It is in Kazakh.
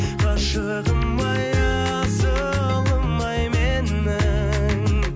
ғашығым ай асылым ай менің